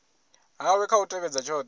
hawe kha u tevhedza tshothe